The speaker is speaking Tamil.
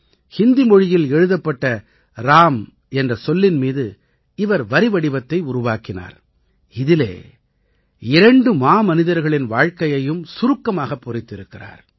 ஹிந்தி மொழியில் எழுதப்பட்ட ராம் என்ற சொல்லின் மீது இவர் வரிவடிவத்தை உருவாக்கினார் இதிலே இரண்டு மாமனிதர்களின் வாழ்க்கையையும் சுருக்கமாகப் பொறித்திருக்கிறார்